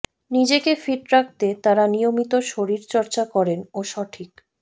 নিজেকে ফিট রাখতে তারা নিয়মিত শরীরচর্চা করেন ও সঠিক